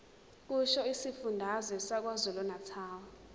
kusho isifundazwe sakwazulunatali